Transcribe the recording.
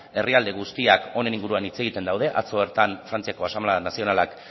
herrialde guztiak honen inguruan hitz egiten daude atzo bertan frantziako asanblada nazionalak